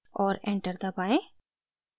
और enter दबाएं